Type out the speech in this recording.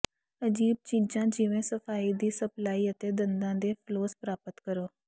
ਅਜੀਬ ਚੀਜ਼ਾਂ ਜਿਵੇਂ ਸਫਾਈ ਦੀ ਸਪਲਾਈ ਅਤੇ ਦੰਦਾਂ ਦੇ ਫਲੋਸ ਪ੍ਰਾਪਤ ਕਰੋ